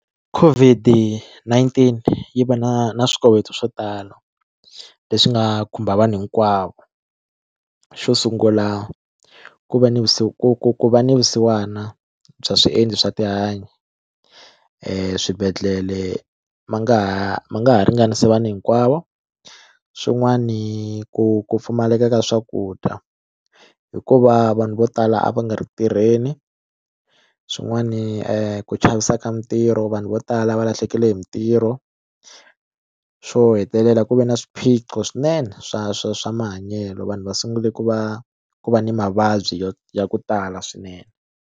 COVID-19 yi va na na swikoweto swo tala leswi nga khumba vanhu hinkwavo xo sungula ku va ni ku va ni vusiwana bya swiendlo swa tihanyi swibedhlele ma nga ha ma nga ha ringanisa vanhu hinkwavo swin'wani ku ku pfumaleka ka swakudya hikuva vanhu vo tala a va nga ri ku tirheni swin'wani ku chavisa ka mitirho vanhu vo tala va lahlekele hi mitirho xo hetelela ku ve ni swiphiqo swinene swa swa swa mahanyelo vanhu va sungule ku va ku va ni mavabyi yo ya ku tala swinene.